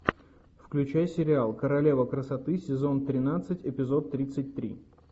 включай сериал королева красоты сезон тринадцать эпизод тридцать три